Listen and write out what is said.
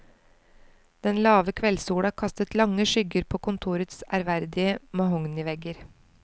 Den lave kveldssola kastet lange skygger på kontorets ærverdige mahognivegger.